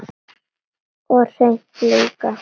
Og hreint líka!